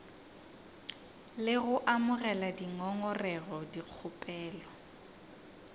le go amogela dingongorego dikgopelo